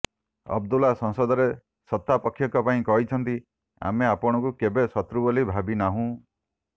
ଅବଦୁଲ୍ଲା ସଂସଦରେ ସତ୍ତାପକ୍ଷଙ୍କ ପାଇଁ କହିଛନ୍ତି ଆମେ ଆପଣଙ୍କୁ କେବେ ଶତ୍ରୁ ବୋଲି ଭାବିନାହୁଁ